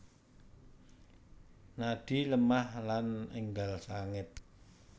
Nadi lemah lan enggal sanget